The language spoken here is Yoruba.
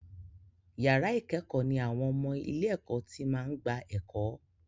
Yàrá ìkẹ́kọ̀ọ́ ní àwọn ọmọ ilé-ẹ̀kọ́ tí máa ń gba ẹ̀kọ́.